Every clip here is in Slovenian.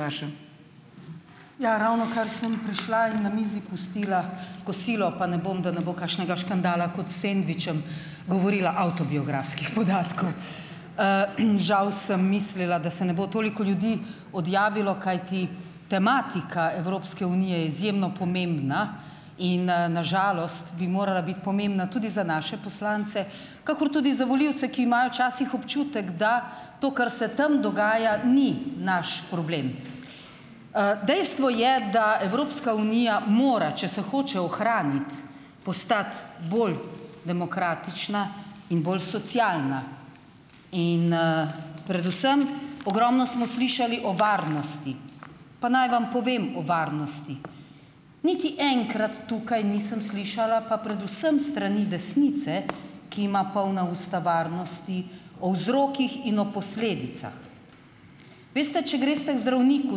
... je vaša. Ja, ravnokar sem prišla in na mizi pustila kosilo, pa ne bom, da ne bo kakšnega škandala, kot s sendvičem, govorila avtobiografskih podatkov. Žal sem mislila, da se ne bo toliko ljudi odjavilo, kajti tematika Evropske unije je izjemno pomembna in na žalost bi morala biti pomembna tudi za naše poslance kakor tudi za volivce, ki imajo včasih občutek, da to, kar se tam dogaja, ni naš problem. Dejstvo je, da Evropska unija mora, če se hoče ohraniti, postati bolj demokratična in bolj socialna in predvsem, ogromno smo slišali o varnosti. Pa naj vam povem o varnosti. Niti enkrat tukaj nisem slišala pa predvsem s strani desnice, ki ima polna usta varnosti, o vzrokih in o posledicah. Veste, če greste k zdravniku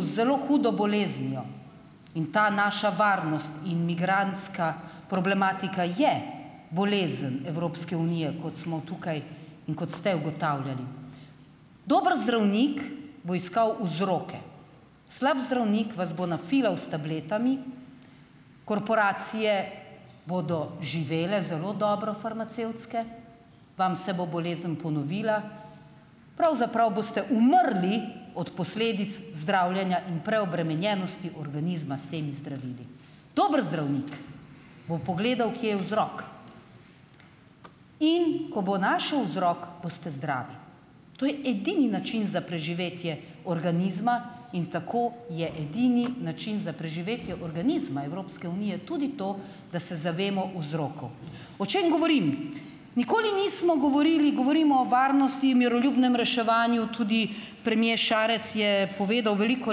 z zelo hudo boleznijo, in ta naša varnost in migrantska problematika je bolezen Evropske unije, kot smo tukaj in kot ste ugotavljali. Dober zdravnik bo iskal vzroke, slab zdravnik vas bo nafilal s tabletami, korporacije bodo živele zelo dobro, farmacevtske, vam se bo bolezen ponovila, pravzaprav boste umrli od posledic zdravljenja in preobremenjenosti organizma s temi zdravili. Dobro zdravnik bo pogledal, kje je vzrok, in ko bo našel vzrok, boste zdravi. To je edini način za preživetje organizma in tako je edini način za preživetje organizma Evropske unije tudi to, da se zavemo vzrokov. O čem govorim? Nikoli nismo govorili, govorim o varnosti in miroljubnem reševanju, tudi premier Šarec je povedal veliko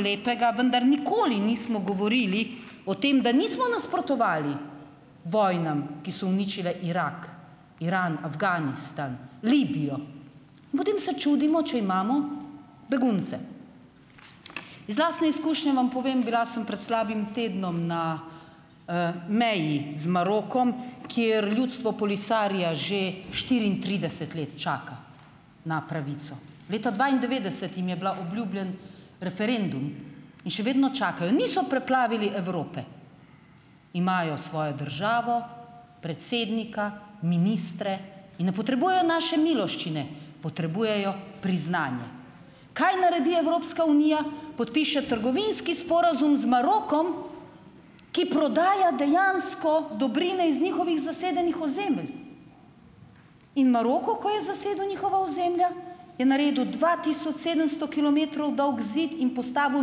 lepega, vendar nikoli nismo govorili o tem, da nismo nasprotovali vojnam, ki so uničile Irak, Iran, Afganistan, Libijo. Potem se čudimo, če imamo begunce. Iz lastne izkušnje vam povem, bila sem pred slabim tednom na meji z Marokom, kjer ljudstvo Polisario že štiriintrideset let čaka na pravico. Leta dvaindevetdeset jim je bil obljubljen referendum in še vedno čakajo. Niso preplavili Evrope, imajo svojo državo, predsednika, ministre in ne potrebujejo naše miloščine, potrebujejo priznanje. Kaj naredi Evropska unija - podpiše trgovinski sporazum z Marokom, ki prodaja dejansko dobrine iz njihovih zasedenih ozemelj. In Maroko, ko je zasedel njihova ozemlja, je naredil dva tisoč sedemsto kilometrov dolg zid in postavil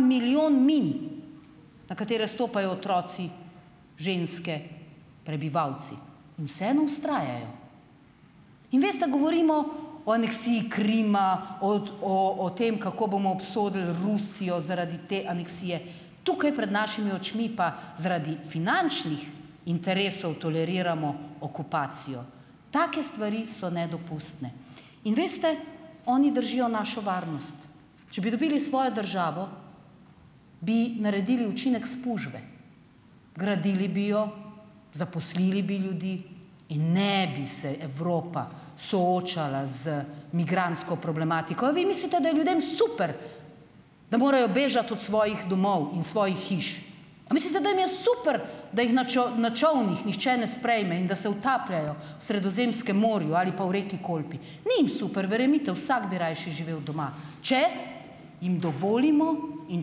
milijon min, na katere stopajo otroci, ženske, prebivalci. In vseeno vztrajajo. In, veste, govorimo o aneksiji Krima, o o o tem, kako bomo obsodili Rusijo zaradi te aneksije, tukaj pred našimi očmi pa zaradi finančnih interesov toleriramo okupacijo. Take stvari so nedopustne. In, veste, oni držijo našo varnost. Če bi dobili svojo državo, bi naredili učinek spužve, gradili bi jo, zaposlili bi ljudi in ne bi se Evropa soočala z migrantsko problematiko. A vi mislite, da je ljudem super, da morajo bežati od svojih domov in svojih hiš? A mislite, da jim je super, da jih na na čolnih nihče ne sprejme in da se utapljajo v Sredozemskem morju ali pa v reki Kolpi? Ni jim super, verjemite, vsak bi raje še živel doma, če jim dovolimo in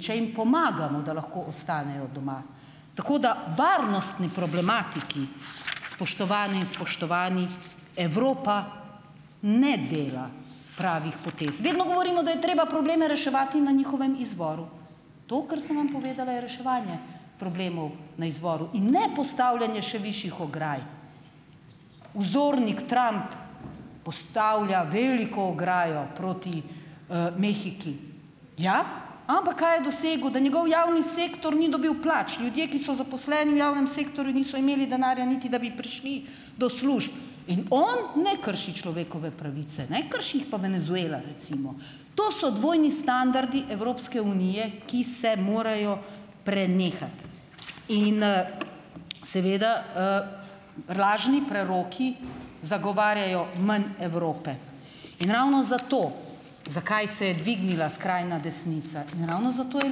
če jim pomagamo, da lahko ostanejo doma. Tako da varnostni problematiki, spoštovane in spoštovani, Evropa ne dela pravih potez. Vedno govorimo, da je treba probleme reševati na njihovem izvoru. To, kar sem vam povedala, je reševanje problemov na izvoru in ne postavljanje še višjih ograj. Vzornik Trump postavlja veliko ograjo proti Mehiki. Ja, ampak kaj je dosegel - da njegov javni sektor ni dobil plač. Ljudje, ki so zaposleni v javnem sektorju, niso imeli denarja, niti da bi prišli do služb. In on ne krši človekove pravice, ne, krši jih pa Venezuela, recimo. To so dvojni standardi Evropske unije, ki se morajo prenehati. In seveda razni preroki zagovarjajo manj Evrope. In ravno zato, zakaj se je dvignila skrajna desnica, ravno zato je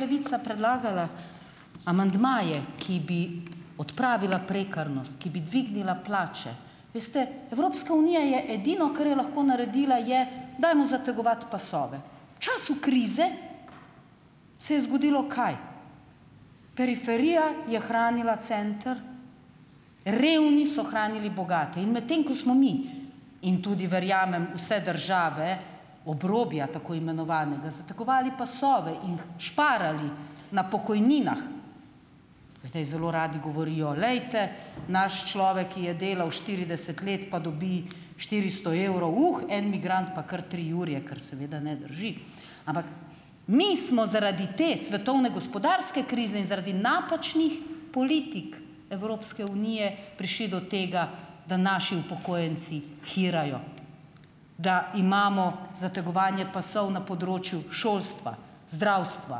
Levica predlagala amandmaje, ki bi odpravila prekarnost, ki bi dvignila plače. Veste, Evropska unija je edino, kar je lahko naredila, je, dajmo zategovati pasove. V času krize se je zgodilo kaj? Periferija je hranila center, revni so hranili bogate. In medtem ko smo mi in tudi, verjamem, vse države obrobja, tako imenovanega, zategovali pasove in šparali na pokojninah, zdaj zelo radi govorijo, glejte, naš človek, ki je delal štirideset let, pa dobi štiristo evrov, en migrant pa kar tri jurje, kar seveda ne drži. Ampak mi smo zaradi te svetovne gospodarske krize in zaradi napačnih politik Evropske unije prišli do tega, da naši upokojenci hirajo, da imamo zategovanje pasov na področju šolstva, zdravstva,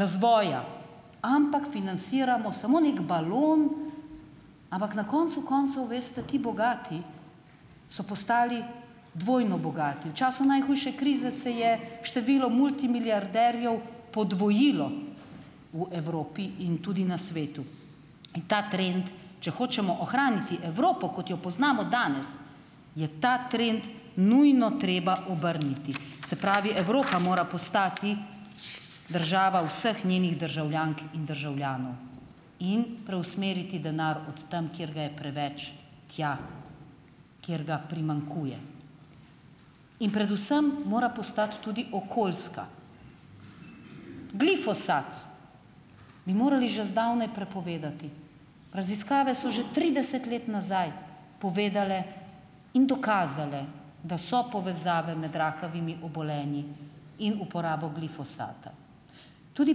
razvoja. Ampak finansiramo samo neki balon, ampak na koncu koncev, veste, ti bogati so postali dvojno bogati. V času najhujše krize se je število multimilijarderjev podvojilo v Evropi in tudi na svetu. In ta trend, če hočemo ohraniti Evropo, kot jo poznamo danes, je ta trend nujno treba obrniti. Se pravi, Evropa mora postati država vseh njenih državljank in državljanov in preusmeriti denar od tam, kjer ga je preveč, tja, kjer ga primanjkuje. In predvsem mora postati tudi okoljska. Glifosat bi morali že zdavnaj prepovedati, raziskave so že trideset let nazaj povedale in dokazale, da so povezave med rakavimi obolenji in uporabo glifosata. Tudi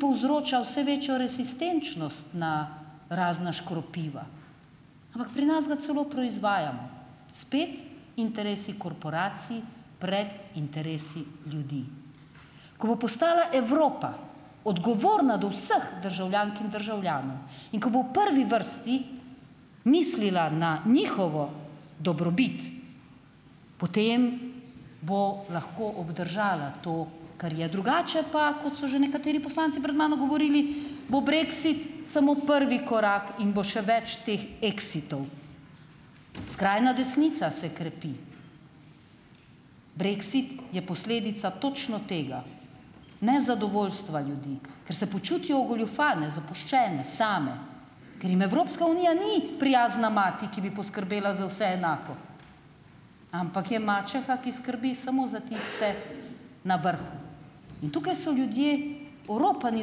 povzroča vse večjo rezistenčnost na razna škropiva. Ampak pri nas ga celo proizvajamo, spet interesi korporacij pred interesi ljudi. Ko bo postala Evropa odgovorna do vseh državljank in državljanov in ko bo prvi vrsti mislila na njihovo dobrobit, potem bomo lahko obdržala to, kar je. Drugače pa, kot so že nekateri poslanci pred mano govorili, bo brexit samo prvi korak in bo še več teh exitov. Skrajna desnica se krepi. Brexit je posledica točno tega, nezadovoljstva ljudi, ker se počutijo ogoljufane, zapuščene, same, ker jim Evropska unija ni prijazna mati, ki bi poskrbela za vse enako, ampak je mačeha, ki skrbi samo za tiste na vrhu. In tukaj so ljudje, oropani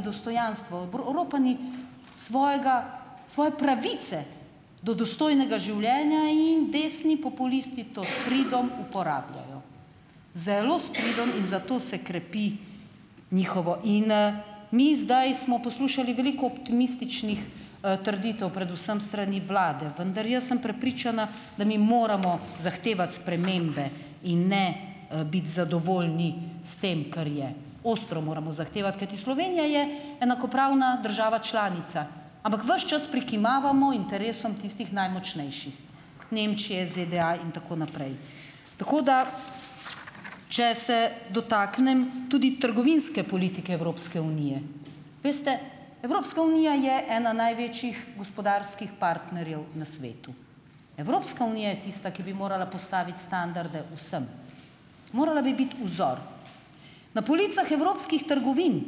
dostojanstva, oropani svojega, svoje pravice do dostojnega življenja in desni populisti to s pridom uporabljajo. Zelo s pridom in zato se krepi njihovo. In mi zdaj smo poslušali veliko optimističnih trditev, predvsem s strani vlade, vendar jaz sem prepričana, da mi moramo zahtevati spremembe in ne biti zadovoljni s tem, kar je. Ostro moramo zahtevati, kajti Slovenija je enakopravna država članica, ampak ves čas prikimavamo interesom tistih najmočnejših Nemčije, ZDA in tako naprej. Tako da, če se dotaknem tudi trgovinske politike Evropske unije. Veste, Evropska unija je ena največjih gospodarskih partnerjev na svetu. Evropska unija je tista, ki bi morala postaviti standarde vsem. Morala bi biti vzor. Na policah evropskih trgovin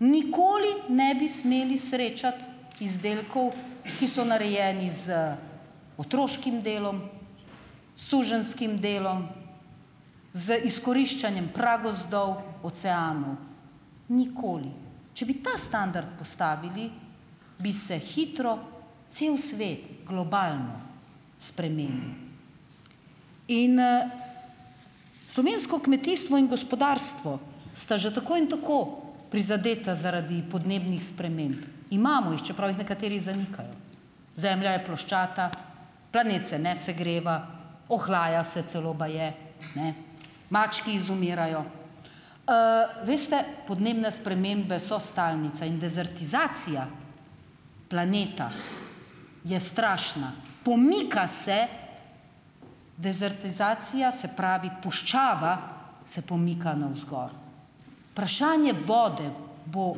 nikoli ne bi smeli srečati izdelkov, ki so narejeni z otroškim delom, suženjskim delom, z izkoriščanjem pragozdov, oceanov. Nikoli. Če bi ta standard postavili, bi se hitro cel svet globalno spremenil. In slovensko kmetijstvo in gospodarstvo sta že tako in tako prizadeta zaradi podnebnih sprememb. Imamo jih, čeprav jih nekateri zanikajo. Zemlja je ploščata, planet se ne segreva, ohlaja se celo baje, ne, mački izumirajo. Veste, podnebne spremembe so stalnica in dezertizacija planeta je strašna. Pomika se, dezertizacija, se pravi puščava, se pomika navzgor. vode bo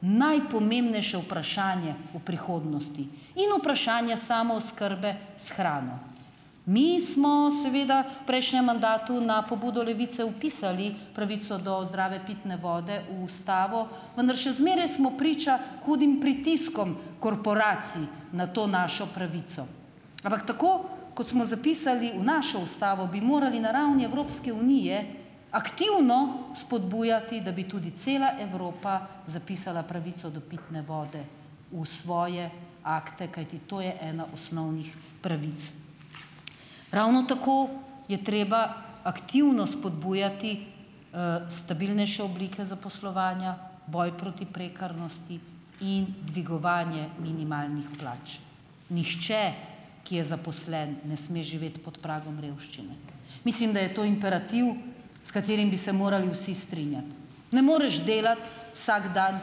najpomembnejše vprašanje v prihodnosti. In vprašanje samooskrbe s hrano. Mi smo seveda v prejšnjem mandatu na pobudo Levice vpisali pravico do zdrave pitne vode v Ustavo, vendar še zmeraj smo priča hudim pritiskom korporacij na to našo pravico. Ampak tako, kot smo zapisali v našo Ustavo, bi morali na ravni Evropske unije aktivno spodbujati, da bi tudi cela Evropa zapisala pravico do pitne vode v svoje akte, kajti to je ena osnovnih pravic. Ravno tako je treba aktivno spodbujati stabilnejše oblike zaposlovanja, boj proti prekarnosti in dvigovanje minimalnih plač. Nihče, ki je zaposlen, ne sme živeti pod pragom revščine. Mislim, da je to imperativ, s katerim bi se morali vsi strinjati. Ne moreš delati, vsak dan,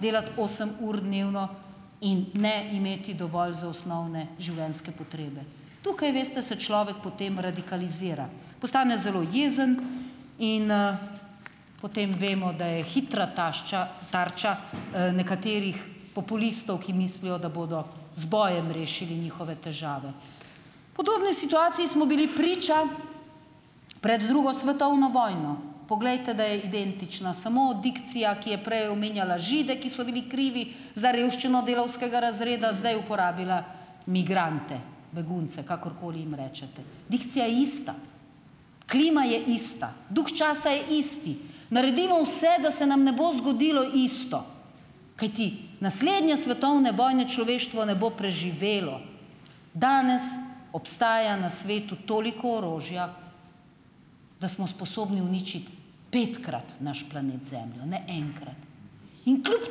delati osem ur dnevno in ne imeti dovolj za osnovne življenjske potrebe. Tukaj, veste, se človek potem radikalizira. Postane zelo jezen in potem vemo, da je hitra tašča tarča nekaterih populistov, ki mislijo, da bodo z bojem rešili njihove težave. Podobni situaciji smo bili priča pred drugo svetovno vojno. Poglejte, da je identična, samo dikcija, ki je prej omenjala Žide, ki so bili krivi za revščino delavskega razreda, zdaj uporabila migrante, begunce, kakorkoli jim rečete. Dikcija je ista, klima je ista, duh časa je isti. Naredimo vse, da se nam ne bo zgodilo isto, kajti naslednje svetovne vojne človeštvo ne bo preživelo. Danes obstaja na svetu toliko orožja, da smo sposobni uničiti petkrat naš planet Zemljo, ne enkrat, in kljub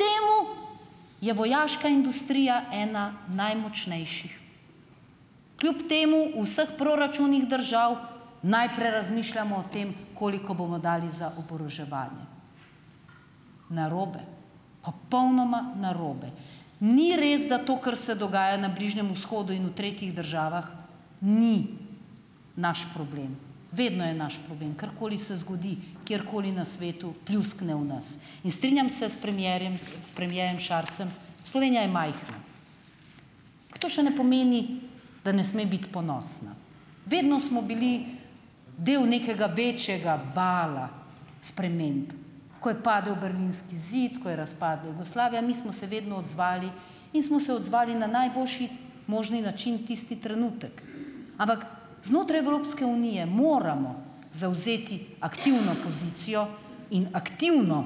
temu, je vojaška industrija ena najmočnejših. Kljub temu vseh proračunih držav najprej razmišljamo o tem, koliko bomo dali za oboroževanje. Narobe, popolnoma narobe. Ni res, da to, kar se dogaja na Bližnjem vzhodu in v tretjih državah, ni naš problem. Vedno je naš problem. Karkoli se zgodi, kjerkoli na svetu, pljuskne v nas in strinjam se s premierjem, s premierjem Šarcem, Slovenija je majhna, to še ne pomeni, da ne sme biti ponosna, vedno smo bili dael nekega večjega vala sprememb. Ko je padel berlinski zid, ko je razpadla Jugoslavija, mi smo se vedno odzvali in smo se odzvali na najboljši možni način tisti trenutek. Ampak znotraj Evropske unije moramo zavzeti aktivno pozicijo in aktivno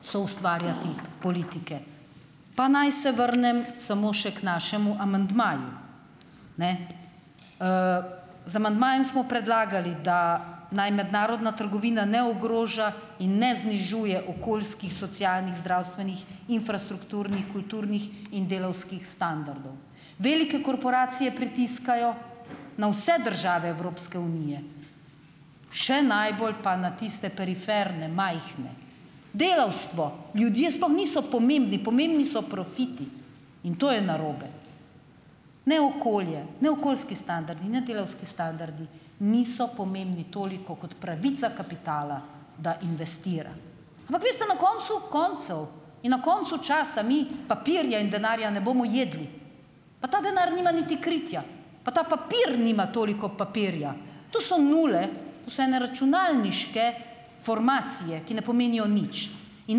soustvarjati politike. Pa naj se vrnem samo še k našemu amandmaju. Ne. Z amandmajem smo predlagali, da naj mednarodna trgovina ne ogroža in ne znižuje okoljskih, socialnih, zdravstvenih, infrastrukturnih, kulturnih in delavskih standardov. Velike korporacije pritiskajo na vse države Evropske unije, še najbolj pa na tiste periferne, majhne. Delavstvo, ljudje sploh niso pomembni, pomembni so profiti, in to je narobe. Ne okolje, ne okoljski standardi, ne delavski standardi niso pomembni toliko kot pravica kapitala, da investira. Ampak vi ste, na koncu koncev in na koncu časa mi papirje in denarja ne bomo jedli, pa ta denar nima niti kritja, pa pa papir nima toliko papirja, to so nule, to so ene računalniške formacije, ki ne pomenijo nič. In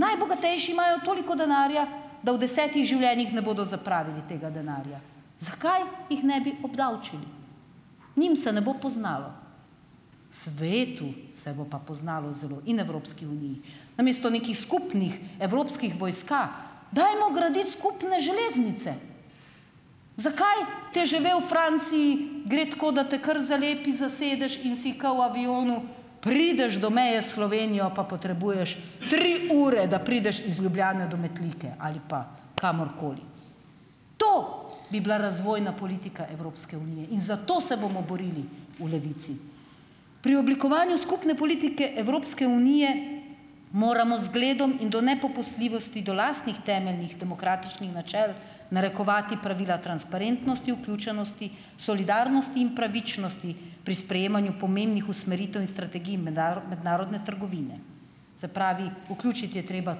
najbogatejši imajo toliko denarja, da v desetih življenjih ne bodo zapravili tega denarja. Zakaj jih ne bi obdavčili? Njim se ne bo poznalo. Svetu se bo pa poznalo zelo in Evropski uniji. Namesto nekih skupnih evropskih vojska dajmo graditi skupne železnice. Zakaj TGV v Franciji gre tako, da te kar zalepi za sedež in si ke v avionu, prideš do meje s Slovenijo, pa potrebuješ tri ure, da prideš iz Ljubljane do Metlike ali pa kamorkoli. To bi bila razvojna politika Evropske unije in za to se bomo borili v Levici. Pri oblikovanju skupne politike Evropske unije moramo zgledom in do nepopustljivosti do lastnih temeljnih demokratičnih načel narekovati pravila transparentnosti, vključenosti, solidarnosti in pravičnosti pri sprejemanju pomembnih usmeritev in strategij mednarodne trgovine, se pravi vključiti je treba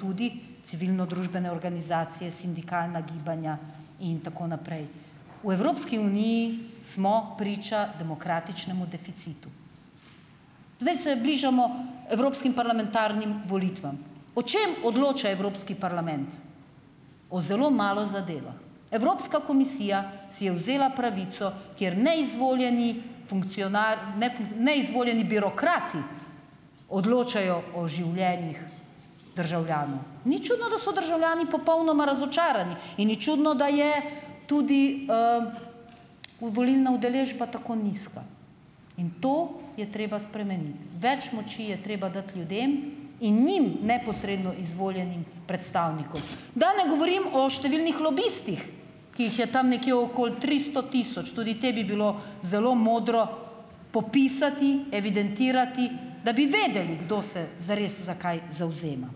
tudi civilnodružbene organizacije, sindikalna gibanja in tako naprej. V Evropski uniji smo priča demokratičnemu deficitu. Zdaj se bližamo evropskim parlamentarnim volitvam. O čem odloča Evropski parlament? O zelo malo zadevah. Evropska komisija si je vzela pravico, kjer neizvoljeni funkcionar, neizvoljeni birokrati odločajo o življenjih državljanov. Ni čudno, da so državljani popolnoma razočarani, in ni čudno, da je tudi volilna udeležba tako nizka. In to je treba spremeniti. Več moči je treba dati ljudem in njim neposredno izvoljenim predstavnikov . Da ne govorim o številnih lobistih, ki jih je tam nekje okoli tristo tisoč, tudi te bi bilo zelo modro popisati, evidentirati, da bi vedeli, kdo se zares za kaj zavzema.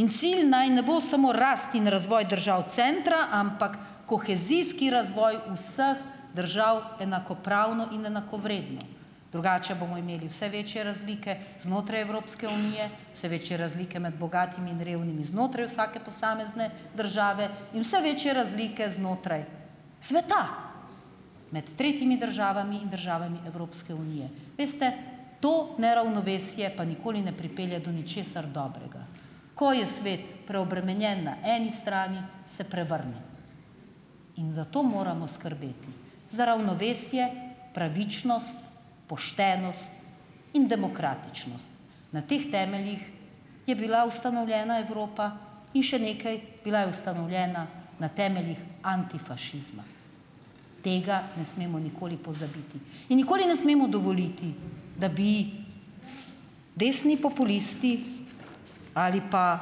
In cilj naj ne bo samo rast in razvoj držav centra, ampak kohezijski razvoj vseh držav enakopravno in enakovredno, drugače bomo imeli vse večje razlike znotraj Evropske unije, vse večje razlike med bogatimi in revnimi znotraj vsake posamezne države in vse večje razlike znotraj sveta, med tretjimi državami in državami Evropske unije. Veste, to neravnovesje pa nikoli ne pripelje do ničesar dobrega. Ko je svet preobremenjen na eni strani, se prevrne. In zato moramo skrbeti za ravnovesje, pravičnost, in Na teh temeljih je bila ustanovljena Evropa. In še nekaj, bila je ustanovljena na temeljih antifašizma. Tega ne smemo nikoli pozabiti in nikoli ne smemo dovoliti, da bi desni populisti ali pa,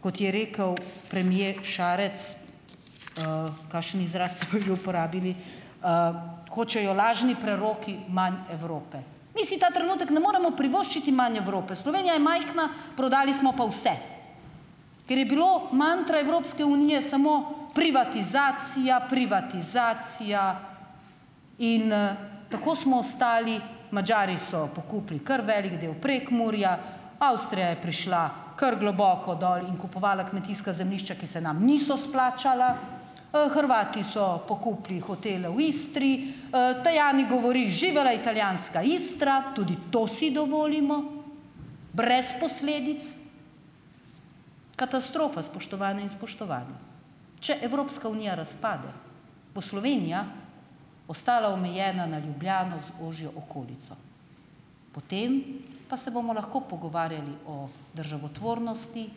kot je rekel premier Šarec , kakšen izraz uporabili, hočejo lažni preroki manj Evrope. Mi si ta trenutek ne moremo privoščiti manj Evrope. Slovenija je majhna, prodali smo pa vse. Ker je bilo mantra Evropske unije samo privatizacija, privatizacija, in tako smo ostali, Madžari so pokupili kar velik del Prekmurja, Avstrija je prišla kar globoko dol in kupovala kmetijska zemljišča, ki se nam niso splačala, Hrvati so pokupili hotele v Istri, govori "živela italijanska Istra", tudi to si dovolimo brez posledic. Katastrofa, spoštovane in spoštovani. Če Evropska unija razpade bo Slovenija ostala omejena na Ljubljano z ožjo okolico. Potem pa se bomo lahko pogovarjali o državotvornosti,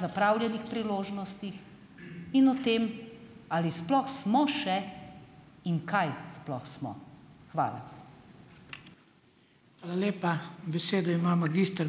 zapravljenih priložnostih in o tem, ali sploh smo še in kaj sploh smo. Hvala. Hvala lepa. Besedo ima magister ...